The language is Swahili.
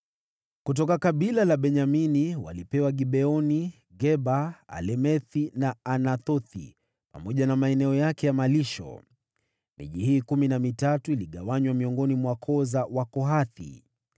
Kutoka kabila la Benyamini walipewa Gibeoni, Geba, Alemethi na Anathothi, pamoja na maeneo yake ya malisho. Miji hii kumi na mitatu iligawanywa miongoni mwa koo za Wakohathi.